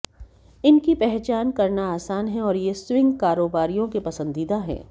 इनकी पहचान करना आसान है और ये स्विंग कारोबारियों के पसंदीदा हैं